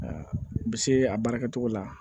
u bɛ se a baara kɛcogo la